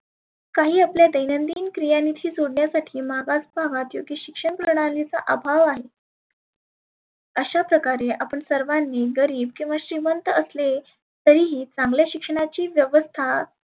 काही आपल्या दैनंदीन क्रियानिशी जोडण्यासाठी मागास भागात जे की शिक्षण प्रणालीचा अभाव आहे. अशा प्रकारे आपण सर्वांनी गरिब किंवा श्रिमंत असने तरिही चांगल्या शिक्षणाची व्यवस्था